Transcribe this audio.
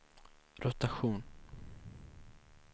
rotation